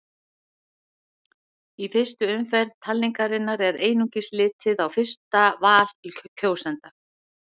Í fyrstu umferð talningarinnar er einungis litið á fyrsta val kjósenda.